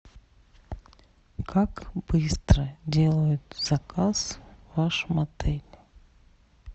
как быстро делают заказ в вашем отеле